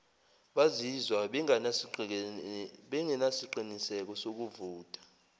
bazizwa bengenasiqiniseko sokuvota